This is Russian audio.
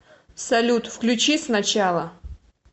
салют включи с начала